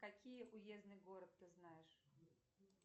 какие уездный город ты знаешь